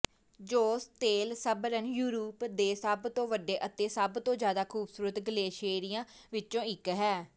ਜੋਸਤੇਲਸਬਰਨ ਯੂਰਪ ਦੇ ਸਭ ਤੋਂ ਵੱਡੇ ਅਤੇ ਸਭ ਤੋਂ ਜ਼ਿਆਦਾ ਖੂਬਸੂਰਤ ਗਲੇਸ਼ੀਅਰਾਂ ਵਿੱਚੋਂ ਇੱਕ ਹੈ